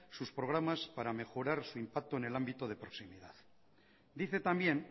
sus programas para mejorar su impacto en el ámbito de proximidad dice también